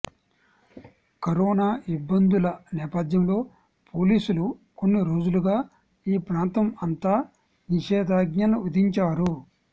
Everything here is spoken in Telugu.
కరోనా ఇబ్బందుల నేపధ్యంలో పోలీసులు కొన్ని రోజులుగా ఈ ప్రాంతం అంతా నిషేధాజ్ఞలు విధించారు